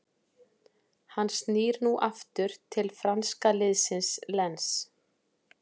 Hann snýr nú aftur til franska liðsins Lens.